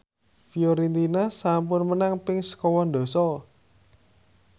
Fiorentina sampun menang ping sekawan dasa